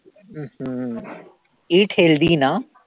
अं hmm eat healthy ना